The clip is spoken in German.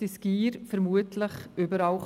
Die Gier kann überall lauern.